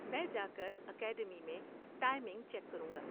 میں جا کر اکیڈمی میں ٹائمنگ چیک کروں گا۔